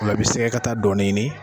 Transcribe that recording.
Ola i bɛ sɛgɛkata dɔɔni ɲini.